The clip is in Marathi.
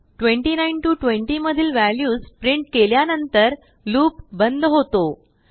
29 ते 20मधील व्ह्याल्यूसप्रिंट केल्यानंतरलूपबंद होतो